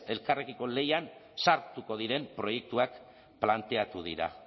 elkarrekiko lehian sartuko diren proiektuak planteatu dira